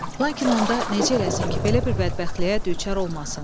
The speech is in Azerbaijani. Lakin onda necə eləsin ki, belə bir bədbəxtliyə düçar olmasın?